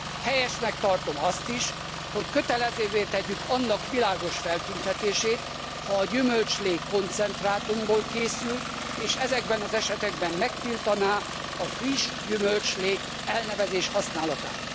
Helyesnek tartom azt is, hogy kötelezővé tegyük annak világos feltüntetését, hogy a gyümölcslé koncentrátumból készült, és ezekben az esetekben megtiltsuk a friss gyümölcslé elnevezés használatát.